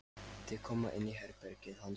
Þau koma inn í herbergið hans.